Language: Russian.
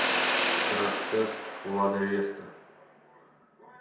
краш тест лада веста